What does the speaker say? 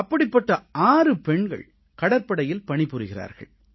அப்படிப்பட்ட 6 பெண்கள் கடற்படையில் பணிபுரிகிறார்கள்